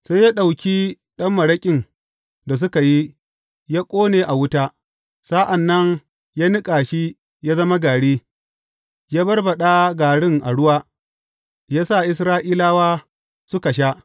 Sai ya ɗauki ɗan maraƙin da suka yi, ya ƙone a wuta; sa’an nan ya niƙa shi ya zama gari, ya barbaɗa garin a ruwa, ya sa Isra’ilawa suka sha.